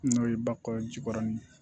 N'o ye bakɔ jikɔrɔni ye